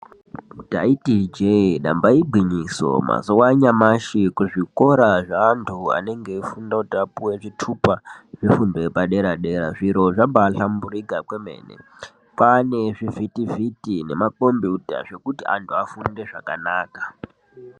Taiti ijee damba igwinyiso mazuwanyashi kuzvikora zvevantu anenge eifunda kuti apuwe zvitupa zvefundo yepadera dera zviro zvabahlamburika kwemene kwane zvivhiti vhiti nemakombiyuta zvekuti vantu vafunde zvakanaka.